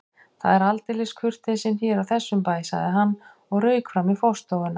Það er aldeilis kurteisin hér á þessum bæ sagði hann og rauk fram í forstofuna.